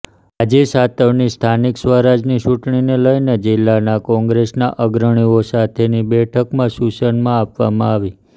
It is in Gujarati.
રાજીવ સાતવની સ્થાનિક સ્વરાજની ચૂંટણીને લઇને જિલ્લા કોંગ્રેસના અગ્રણીઓ સાથેની બેઠકમાં સૂચનમાં આપવામાં આવી